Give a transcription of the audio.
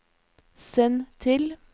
send til